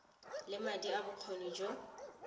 le madi le bokgoni go